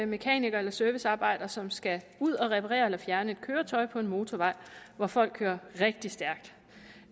mekaniker eller servicearbejder som skal ud at reparere eller fjerne et køretøj på en motorvej hvor folk kører rigtig stærkt